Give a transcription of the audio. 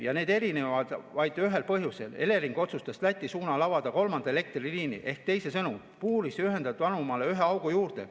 Ja need erinevad vaid ühel põhjusel: Elering otsustas Läti suunal avada kolmanda elektriliini ehk teisisõnu puuris ühendatud anumale ühe augu juurde.